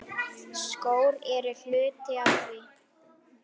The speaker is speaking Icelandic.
Skór eru hluti af því.